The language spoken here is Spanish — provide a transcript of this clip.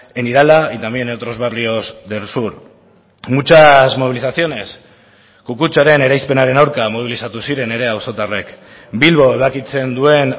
en irala y también en otros barrios del sur muchas movilizaciones kukutzaren eraispenaren aurka mobilizatu ziren ere auzotarrek bilbo ebakitzen duen